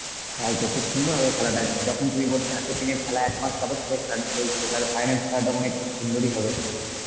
তাইতো, খুব সুন্দর হবে খেলাটা যখন তুমি বলছো এত দিনের খেলা, একমাস যাবত ধরে খেলাটা চলছে তালে হ্যাঁ final খেলাটা মনে হয় খুব সুন্দরই হবে.